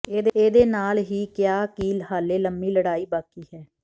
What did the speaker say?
ਇਹ ਦੇ ਨਾਲ ਹੀ ਕਿਹਾ ਕਿ ਹਾਲੇ ਲੰਮੀ ਲੜਾਈ ਬਾਕੀ ਹੈ